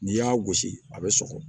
N'i y'a gosi a bɛ sɔgɔ